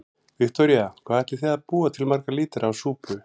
Viktoría: Hvað ætlið þið að búa til marga lítra af súpu?